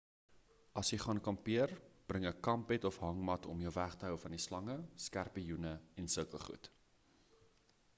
as jy gaan kampeer bring 'n kampbed of hangmat om jou weg te hou van slange skerpioene en sulke goed